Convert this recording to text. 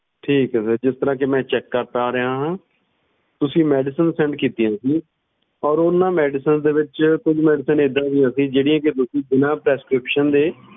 ਠੀਕ ਏ sir ਜਿਸ ਤਰ੍ਹਾਂ ਕੀ ਮੈਂ check ਕਰ ਪਾ ਰਿਹਾ ਆ ਤੁਸੀਂ ਕੁਜ medicinessend ਕੀਤੀਆਂ ਸੀ ਤੇ ਓਹਨਾ ਵਿਚ ਕੁਛ medicines ਇੱਦਾਂ ਦੀ ਸੀ ਜਿਹੜੀ ਤੁਸੀਂ ਬਿਨਾ prescription ਦੇ ਨਹੀਂ ਲੈ ਸਕਦੇ